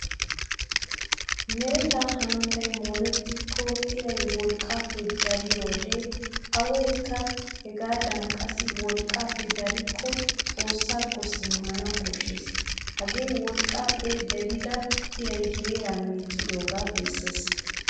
Meretta hanottay moorettiko iray wolqqappe dariyode awaykka hegadankka qassi wolqqappe darikko xoossakko simanawu koshshees. Hagee wolqqappe darida iray heeraa meeccidoga bessees.